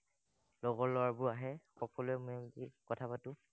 লগৰ লৰাবোৰ আহে, সকলোৱে কথা পাতো।